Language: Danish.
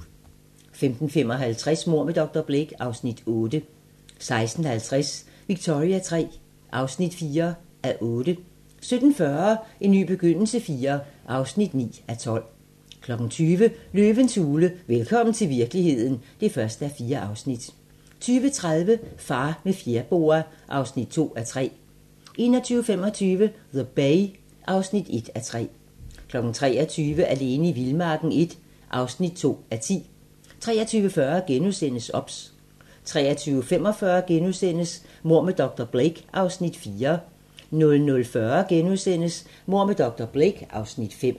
15:55: Mord med dr. Blake (Afs. 8) 16:50: Victoria III (4:8) 17:40: En ny begyndelse IV (9:12) 20:00: Løvens hule - velkommen til virkeligheden (1:4) 20:30: Far med fjerboa (2:3) 21:25: The Bay (1:3) 23:00: Alene i vildmarken I (2:10) 23:40: OBS * 23:45: Mord med dr. Blake (Afs. 4)* 00:40: Mord med dr. Blake (Afs. 5)*